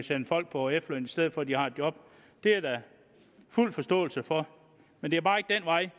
sende folk på efterløn i stedet for at de har et job det er der fuld forståelse for men det er bare ikke den vej